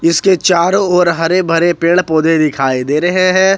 इसके चारों ओर हरे भरे पेड़ पौधे दिखाई दे रहे हैं।